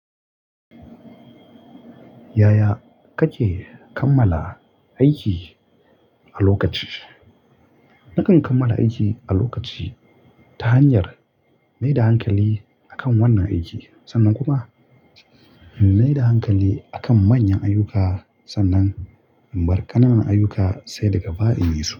Yaya kake kammala aiki a lokaci? Nakan kammala aiki a lokaci ta hanyar na yi da hankali akan wannan aiki. Sannan kuma na yi da hankali akan manyan ayyuka sannan in bar ƙanana ayyuka sai daga bai in yisu.